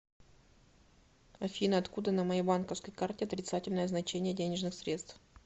афина откуда на моей банковской карте отрицательное значение денежных средств